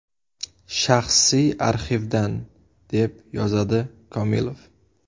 Shaxsiy arxivdan”, deb yozadi Komilov.